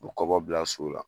O bɛ kɔbɔ bila so la.